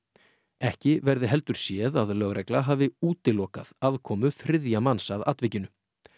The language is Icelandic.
ekki verði heldur séð að lögregla hafi útilokað aðkomu þriðja manns að atvikinu